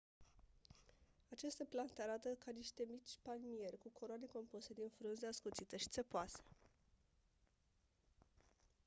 aceste plante arată ca niște mici palmieri cu coroane compuse din frunze ascuțite și țepoase